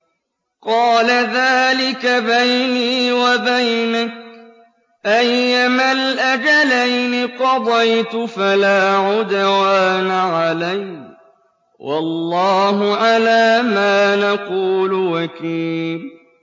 قَالَ ذَٰلِكَ بَيْنِي وَبَيْنَكَ ۖ أَيَّمَا الْأَجَلَيْنِ قَضَيْتُ فَلَا عُدْوَانَ عَلَيَّ ۖ وَاللَّهُ عَلَىٰ مَا نَقُولُ وَكِيلٌ